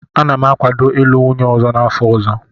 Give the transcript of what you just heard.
Ana m akwado ịlụ nwunye ọzọ n'afọ ọzọ.